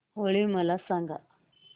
होळी मला सांगा